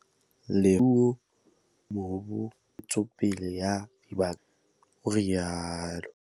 "Le fapha la Temothuo, Tlhabollo ya Mobu le Ntshetsopele ya Dibaka tsa Mahae," o rialo.